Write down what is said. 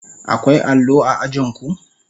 Akwai allo a ajin ku?